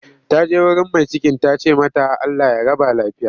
Ta je wurin mai cikin ta ce mata 'Allah ya raba lafiya'